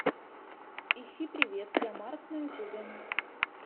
ищи привет я марк на ютубе